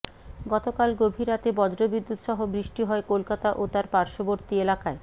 গতকাল গভীর রাতে বজ্রবিদ্যুত সহ বৃষ্টি হয় কলকাতা ও তার পার্শ্ববর্তি এলাকায়